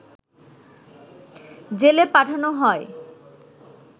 জেলে পাঠানো হয়